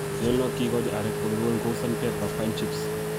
nyolunot kiigochi arek oleruen kou sandpaper, pine chips